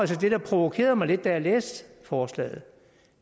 til det der provokerede mig lidt da jeg læste forslaget